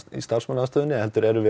kaffistofunni heldur erum við